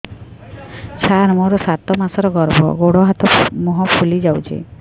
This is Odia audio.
ସାର ମୋର ସାତ ମାସର ଗର୍ଭ ଗୋଡ଼ ହାତ ମୁହଁ ଫୁଲି ଯାଉଛି